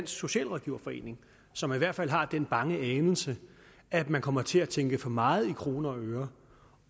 socialrådgiverforening som i hvert fald har den bange anelse at man kommer til at tænke for meget i kroner og øre